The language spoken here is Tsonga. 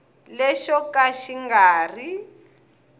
lexo ka xi nga ri